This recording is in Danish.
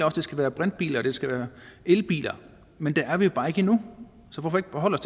at det skal være brintbiler og det skal være elbiler men der er vi jo bare ikke endnu så hvorfor ikke forholde